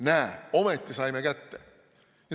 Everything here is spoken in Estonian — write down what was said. Näe, ometi saime kätte!